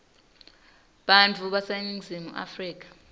bantfu baseningizimu afrika